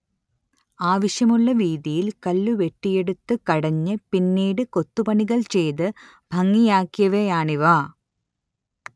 ആവശ്യമുള്ള വീതിയിൽ കല്ലുവെട്ടിയെടുത്ത് കടഞ്ഞ് പിന്നീട് കൊത്തുപണികൾ ചെയ്ത് ഭംഗിയാക്കിയവയാണിവ